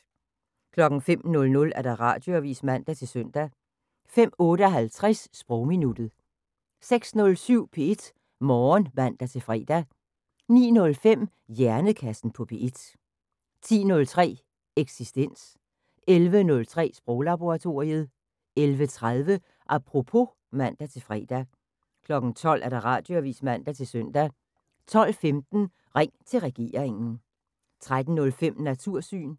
05:00: Radioavis (man-søn) 05:58: Sprogminuttet 06:07: P1 Morgen (man-fre) 09:05: Hjernekassen på P1 10:03: Eksistens 11:03: Sproglaboratoriet 11:30: Apropos (man-fre) 12:00: Radioavis (man-søn) 12:15: Ring til regeringen 13:05: Natursyn